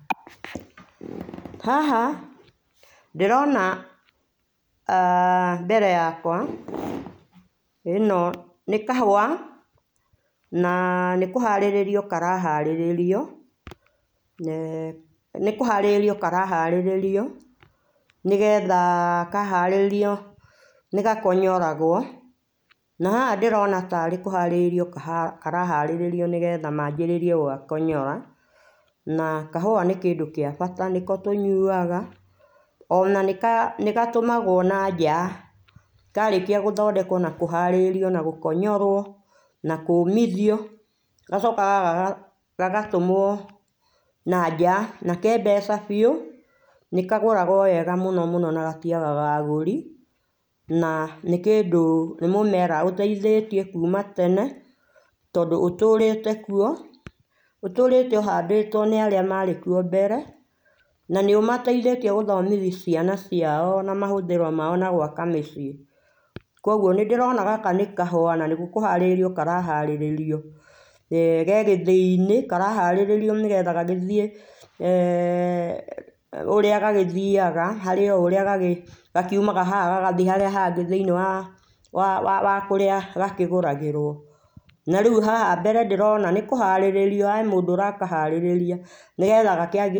Haha ndĩrona aah mbere yakwa ĩno nĩ kahũa na kũharĩrĩrio karaharĩrio na nĩkũharĩrĩrio karaharĩrio nĩgetha kaharĩrĩrio nĩgakonyoragwo na haha ndĩrona tarĩ kũharĩrĩrĩrio karaha harĩrĩrio nĩgetha manjĩrĩrie kũgakonyora na kahũa nĩ kĩndũ gĩa bata nĩko tũnyũaga ona nĩka nĩgatũmagwo na nja karĩkĩa gũthondekwo na kũharĩrĩrio na gũkonyorwo nakũmithio gacokaga gagatũmwo na nja nake mbeca biũ nĩkagũragwo wega mũno mũno na gatiagaga agũri na nĩ kĩndũ nĩ mũmera ũteĩthĩtie kũma tene tondũ ũtũrĩte kũo ũtũrĩtwo ũhandĩtwo nĩ arĩa marĩkũo mbere na nĩũmateĩthĩtie gũthomithia ciana ciao na mahũthĩro maũ na gwaka mĩciĩ kũogũo nĩ ndĩrona gaka nĩ kahũa na nĩkũharĩrĩrio karaharĩrĩrio eeh kegĩthĩinĩ karaharĩrĩrio nĩgetha gagĩthiĩ ũrĩa gagĩthiaga harĩ o ũrĩa gakiũmaga haha gagthiĩ harĩa hangĩ thĩinĩ wa wa wa kũrĩa gakĩgũragĩrwo na rĩũ haha mbere ndĩrona nĩkũharĩrĩrio he mũndũ ũrakaharĩria nĩgetha gakĩ.